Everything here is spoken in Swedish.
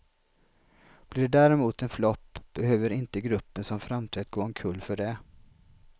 Blir det däremot en flopp behöver inte gruppen som framträtt gå omkull för det.